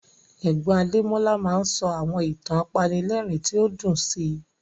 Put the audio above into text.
Ẹ̀gbọ́n Adémọ́lá máa ń sọ àwọn ìtàn apanilẹ́rìn tí ó dùn sí